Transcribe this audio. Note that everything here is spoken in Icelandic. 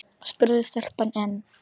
spurði stelpan enn.